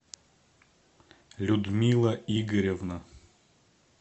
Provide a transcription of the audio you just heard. людмила игоревна